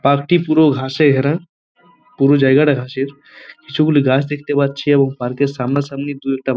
park -টি পুরো ঘাসে ঘেরা পুরো জায়গাটা ঘাসের কিছু গুলি গাছ দেখতে পাচ্ছি এবং পার্ক -এর সামনা সামনি দু একটা --